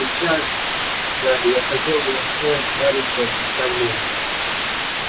а сейчас гарри я хотел бы устроить маленькое представление